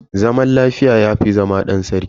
Zaman lafiya yafi zama dan sarki.